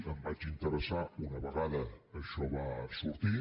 em vaig interessar una vegada això va sortir